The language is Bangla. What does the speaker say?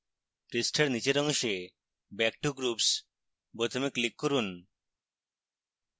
পৃষ্ঠার নীচের অংশে back to groups বোতামে click করুন